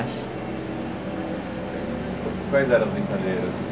Quais eram as brincadeiras?